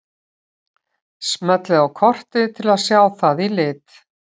Smellið á kortið til að sjá það í lit.